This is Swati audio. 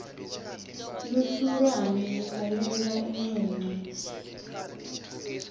lusurane lukhalela incwancwa